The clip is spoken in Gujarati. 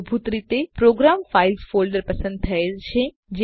મૂળભૂત રીતે પ્રોગ્રામ ફાઇલ્સ ફોલ્ડર પસંદ થયેલ છે